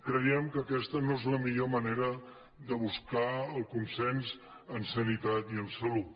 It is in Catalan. creiem que aquesta no és la millor ma·nera de buscar el consens en sanitat i en salut